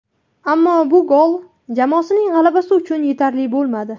Ammo bu gol jamoasining g‘alabasi uchun yetarli bo‘lmadi.